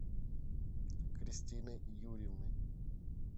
кристиной юрьевной